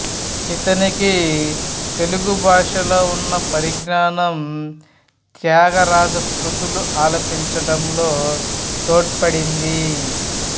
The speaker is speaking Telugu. ఇతనికి తెలుగు భాషలో ఉన్న పరిజ్ఞానం త్యాగరాజకృతులు ఆలపించడంలో తోడ్పడింది